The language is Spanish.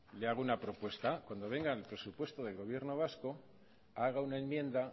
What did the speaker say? le hago una propuesta cuando vengan el presupuesto del gobierno vasco haga una enmienda